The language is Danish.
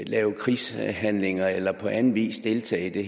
lave krigshandlinger eller på anden vis deltage i det